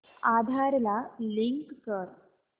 आधार ला लिंक कर